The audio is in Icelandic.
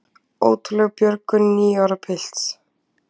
Ótrúleg björgun níu ára pilts